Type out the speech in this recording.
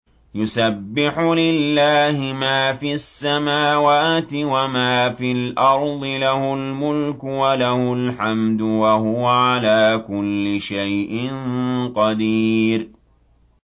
يُسَبِّحُ لِلَّهِ مَا فِي السَّمَاوَاتِ وَمَا فِي الْأَرْضِ ۖ لَهُ الْمُلْكُ وَلَهُ الْحَمْدُ ۖ وَهُوَ عَلَىٰ كُلِّ شَيْءٍ قَدِيرٌ